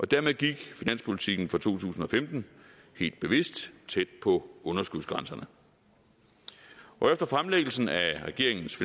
dermed gik finanspolitikken for to tusind og femten helt bevidst tæt på underskudsgrænserne efter fremsættelsen af regeringens